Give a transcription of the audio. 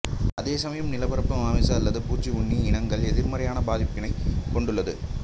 அதேசமயம் நிலப்பரப்பு மாமிச அல்லது பூச்சிக்உண்ணி இனங்கள் எதிர்மறையாகப் பாதிப்பினைக் கொண்டுள்ளது